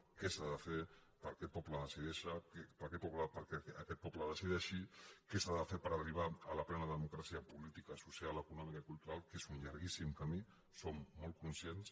què s’ha de fer perquè aquest poble decideixi què s’ha de fer per arribar a la plena democràcia política social econòmica i cultural que és un llarguíssim camí en som molt conscients